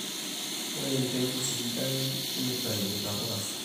ore embeku sidai nitayu ntapuka sidain